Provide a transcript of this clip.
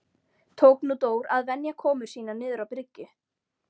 Tók nú Dór að venja komur sínar niður á bryggju.